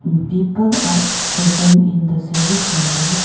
People are present in the service center.